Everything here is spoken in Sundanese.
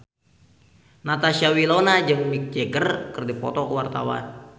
Natasha Wilona jeung Mick Jagger keur dipoto ku wartawan